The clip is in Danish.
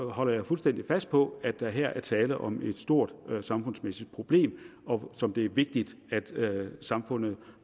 holder jeg fuldstændig fast på at der her er tale om et stort samfundsmæssigt problem som det er vigtigt at samfundet